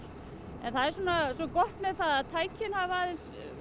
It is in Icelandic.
en það er svo gott með að tækin hafa aðeins